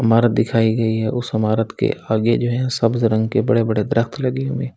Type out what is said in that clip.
इमारत दिखाई गई है उस इमारत के आगे जो है सब्ज रंग के बड़े-बड़े दरख़्त लगे हुएं --